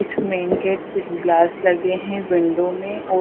कुछ main gate कुछ glass लगे हैं विंडो में औ--